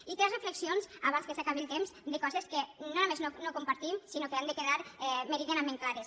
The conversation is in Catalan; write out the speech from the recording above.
i tres reflexions abans que s’acabi el temps de coses que no només no compartim sinó que han de quedar meridianament clares